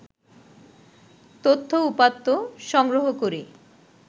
তথ্য-উপাত্ত সংগ্রহ করে